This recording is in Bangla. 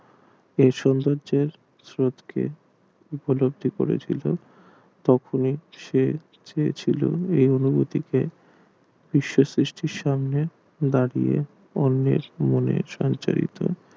এ সৌন্দর্য স্রোত কে উপলব্ধি করেছিল তখন সে চেয়েছিলো কে বিশ্ব সৃষ্টির সামনে দাঁড়িয়ে অন্যের নিয়মের সমচালিত